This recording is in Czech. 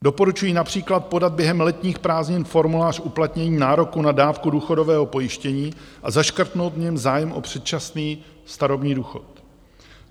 Doporučují například podat během letních prázdnin formulář uplatnění nároku na dávku důchodového pojištění a zaškrtnout v něm zájem o předčasný starobní důchod.